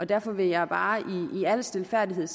derfor vil jeg bare i al stilfærdighed